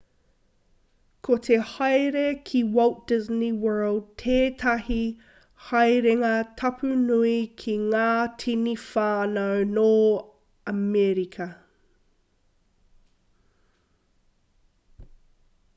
ko te haere ki walt disney world tētahi haerenga tapu nui ki ngā tini whānau nō amerika